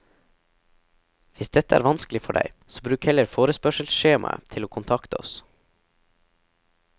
Hvis dette er vanskelig for deg, så bruk heller forespørselsskjemaet til å kontakte oss.